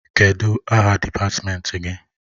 Kedụ aha dịpatmenti gị?